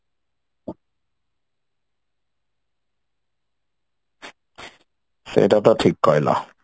ସେଇଟା ତ ଠିକ କହିଲ